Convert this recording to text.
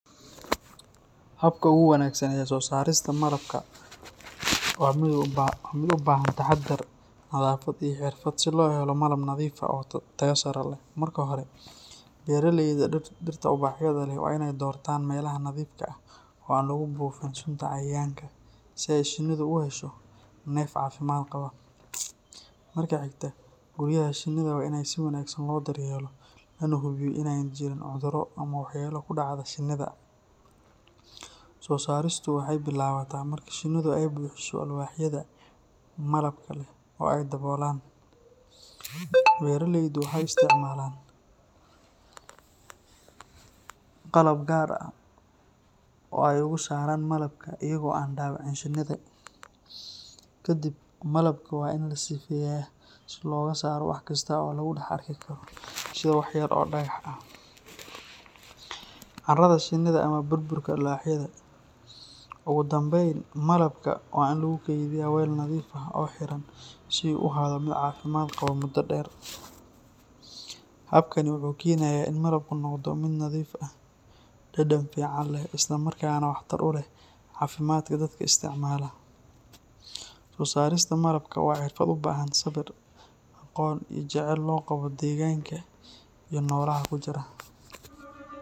Habka ugu wanaagsan ee soosaarista malabka waa mid u baahan taxaddar, nadaafad iyo xirfad si loo helo malab nadiif ah oo tayo sare leh. Marka hore, beeralayda dhirta ubaxyada leh waa inay doortaan meelaha nadiifka ah oo aan lagu buufin sunta cayayaanka si ay shinnidu u hesho neef caafimaad qaba. Marka xigta, guryaha shinnida waa in si wanaagsan loo daryeelo, lana hubiyo in aanay jirin cudurro ama waxyeelo ku dhacda shinnida. Soosaaristu waxay bilaabataa marka shinnidu ay buuxiso alwaaxyada malabka leh oo ay daboolaan. Beeralaydu waxay isticmaalaan qalab gaar ah oo ay uga saaraan malabka iyaga oo aan dhaawicin shinnida. Ka dib, malabka waa la sifeynayaa si looga saaro wax kasta oo lagu dhex arki karo sida wax yar oo dhagax ah, caarada shinnida ama burburka alwaaxyada. Ugu dambeyn, malabka waa in lagu kaydiyaa weel nadiif ah oo xiran si uu u ahaado mid caafimaad qaba muddo dheer. Habkani wuxuu keenayaa in malabku noqdo mid nadiif ah, dhadhan fiican leh, isla markaana waxtar u leh caafimaadka dadka isticmaala. Soosaarista malabka waa xirfad u baahan sabir, aqoon iyo jaceyl loo qabo deegaanka iyo noolaha ku jira.